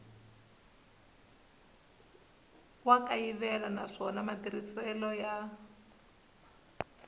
wa kayivela naswona matirhiselo ya